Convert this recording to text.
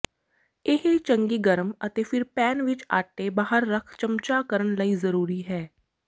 ਇਹ ਚੰਗੀ ਗਰਮ ਅਤੇ ਫਿਰ ਪੈਨ ਵਿੱਚ ਆਟੇ ਬਾਹਰ ਰੱਖ ਚਮਚਾ ਕਰਨ ਲਈ ਜ਼ਰੂਰੀ ਹੈ